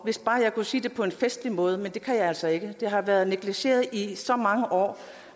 hvis bare jeg kunne sige det på en festlig måde men det kan jeg altså ikke det har været negligeret i så mange år